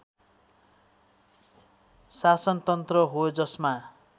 शासनतन्त्र हो जसमा